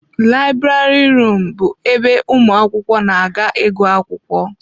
Library rum bụ ebe ụmụ akwụkwọ na-aga ịgụ akwụkwọ.